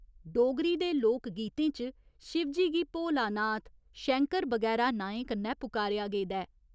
डोगरी दे लोक गीतें च शिवजी गी भोलानाथ, शैंकर बगैरा नांएं कन्नै पुकारेआ गेदा ऐ।